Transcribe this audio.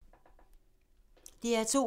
DR2